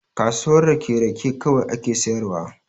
Kasuwar rake, rake kawai ake sayarwa.